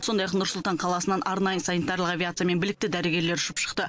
сондай ақ нұр сұлтан қаласынан арнайы санитарлық авиациямен білікті дәрігерлер ұшып шықты